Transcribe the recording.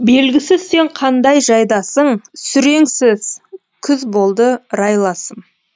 белгісіз сен қандай жайдасың сүреңсіз күз болды райласым